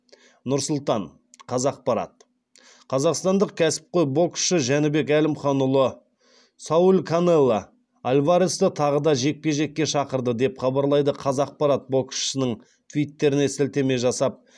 нұр сұлтан қазақпарат қазақстандық кәсіпқой боксшы жәнібек әлімханұлы сауль канело альваресті тағы да жекпе жекке шақырды деп хабарлайды қазақпарат боксшының твиттеріне сілтеме жасап